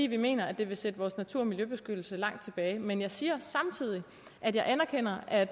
vi mener at det vil sætte vores natur og miljøbeskyttelse langt tilbage men jeg siger samtidig at jeg anerkender at